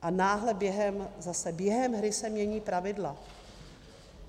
A náhle během... zase během hry se mění pravidla.